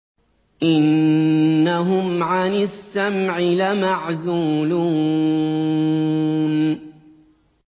إِنَّهُمْ عَنِ السَّمْعِ لَمَعْزُولُونَ